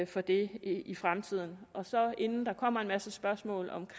for det i fremtiden inden der kommer en masse spørgsmål om